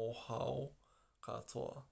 mohoao katoa!